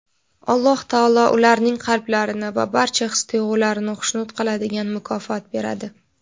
Alloh taolo ularning qalblarini va barcha his-tuyg‘ularini xushnud qiladigan mukofot beradi.